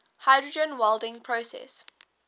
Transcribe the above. hydrogen welding process